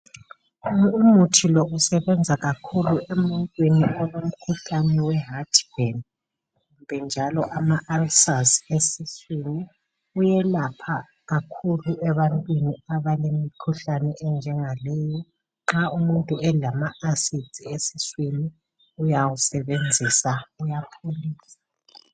Umuthi lo usebenza kakhulu emuntwini olomkhuhlane weheart burn kumbe njalo amaulcers esiswini. Uyelapha kakhulu ebantwini abalemikhuhlane enjengaleyi, nxa umuntu elamaAcids esiswini uyawusebenzisa.